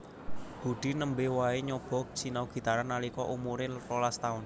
Budi nembe wae nyoba sinau gitaran nalika umuré rolas taun